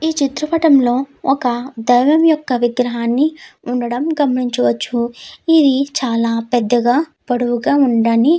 ఈ చిత్ర పటం లో ఒక దైవం యొక్క విగ్రహం ఉండడం గమనించవచ్చు. ఇది చాల పెద్దగా పొడవుగా ఉందని --